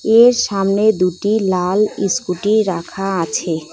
এর সামনে দুটি লাল স্কুটি রাখা আছে।